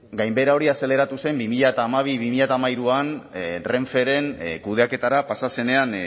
gainbehera hori azaleratu zen bi mila hamabi eta bi mila hamairuan renferen kudeaketara pasa zenean